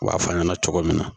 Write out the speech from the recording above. U b'a fɔ an ɲɛna cogo min na